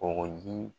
Kɔgɔji